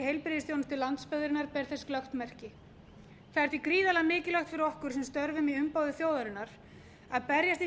heilbrigðisþjónustu landsbyggðarinnar ber þess glöggt merki það er því gríðarlega mikilvægt fyrir okkur sem störfum í umboði þjóðarinnar að berjast í